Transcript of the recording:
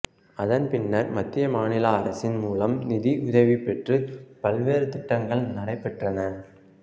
அதன்பின்னர்மத்திய மாநில அரசின் மூலம் நிதி உதவிபெற்று பல்வேறு திட்டங்கள் நடைபெற்றன